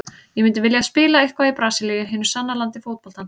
Ég myndi vilja spila eitthvað í Brasilíu, hinu sanna landi fótboltans.